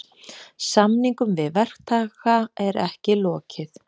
Samningum við verktaka er ekki lokið